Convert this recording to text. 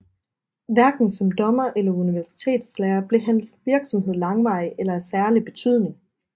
Hverken som dommer eller universitetslærer blev hans virksomhed langvarig eller af særlig betydning